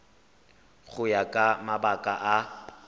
go ya ka mabaka a